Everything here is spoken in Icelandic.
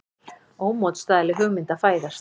Ómótstæðileg hugmynd að fæðast.